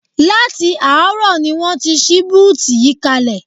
Láti àárọ̀ ni wọ́n ti ṣí búùtù yìí kalẹ̀